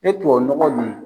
E tuwawu nɔgɔ nin